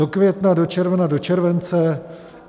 Do května, do června, do července?